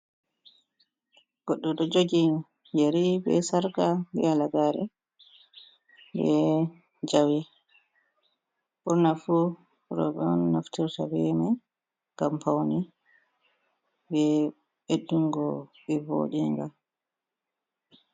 Goɗɗo ɗo jogi yeri be sarka, be halagare, be jawe, ɓurna fu roɓɓe on naftirta be mai ngam paune, be beddungo ɓe voɗinga.